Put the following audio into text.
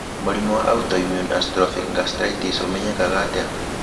Mũrimũ wa autoimmune atrophic gastritis ũmenyekaga atĩa?